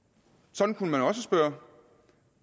sådan kunne man også spørge